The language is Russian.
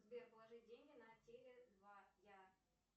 сбер положи деньги на теле два я